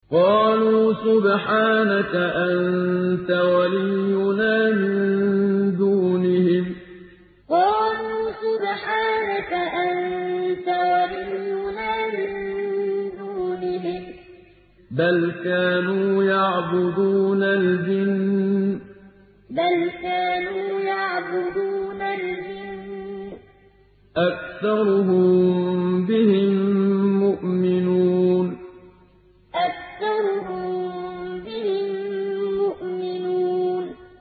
قَالُوا سُبْحَانَكَ أَنتَ وَلِيُّنَا مِن دُونِهِم ۖ بَلْ كَانُوا يَعْبُدُونَ الْجِنَّ ۖ أَكْثَرُهُم بِهِم مُّؤْمِنُونَ قَالُوا سُبْحَانَكَ أَنتَ وَلِيُّنَا مِن دُونِهِم ۖ بَلْ كَانُوا يَعْبُدُونَ الْجِنَّ ۖ أَكْثَرُهُم بِهِم مُّؤْمِنُونَ